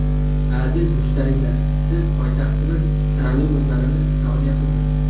Aziz mushtariylar, siz poytaxtimiz trolleybuslarini sog‘inyapsizmi?